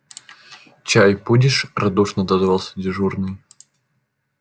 чай будешь радушно отозвался дежурный